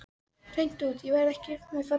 Hreint út: Ég verð ekki fallegt lík.